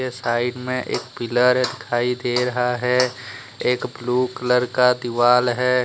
के साइड में एक पिलर है दिखाई दे रहा है। एक ब्लू कलर का दीवाल है |